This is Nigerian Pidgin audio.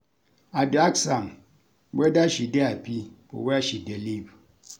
I dey ask am weda she dey hapi for where she dey live.